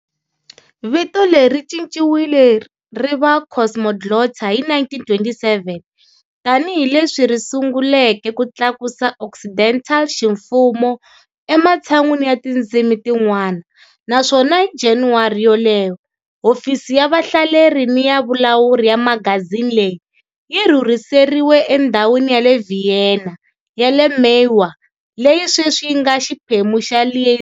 Vito leri ri cinciwile ri va Cosmoglotta hi 1927 tanihi leswi ri sunguleke ku tlakusa Occidental ximfumo ematshan'weni ya tindzimi tin'wana, naswona hi January yoleyo hofisi ya vahleri ni ya vulawuri ya magazini leyi yi rhurhiseriwe endhawini ya le Vienna ya le Mauer, leyi sweswi yi nga xiphemu xa Liesing.